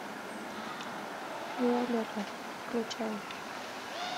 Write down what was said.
виолетта включай